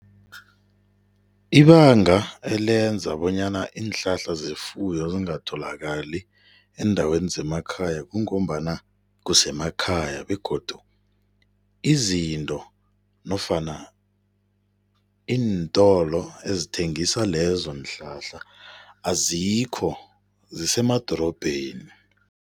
Ibanga elenza bonyana iinhlahla zefuyo zingatholakali eendaweni zemakhaya kungombana kusemakhaya begodu izinto nofana iintolo ezithengisa lezonhlahla azikho, zisemadorobheni.